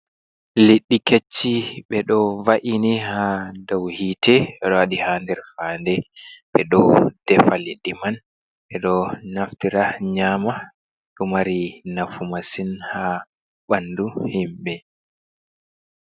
Liɗɗi kech-chi, ɓe ɗo va’ini haa dow hiite, ɓe ɗo waɗi ha nder faande, ɓe ɗo defa liɗɗi man ɓe ɗo naftira nyaama, ɗo mari nafu masin ha ɓandu himɓe.